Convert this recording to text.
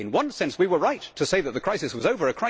In one sense we were right to say that the crisis was over.